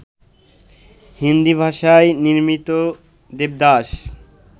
হিন্দি ভাষায় নির্মিত দেবদাস